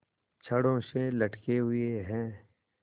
छड़ों से लटके हुए हैं